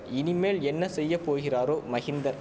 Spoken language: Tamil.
இனிமேல் என்ன செய்ய போகிறாரோ மகிந்தர்